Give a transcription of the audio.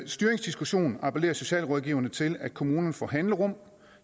styringsdiskussion appellerer socialrådgiverne til at kommunerne får handlerum